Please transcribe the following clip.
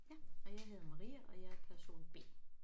Ja og jeg hedder Maria og jeg er person B